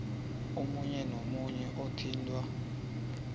omunye nomunye othintwa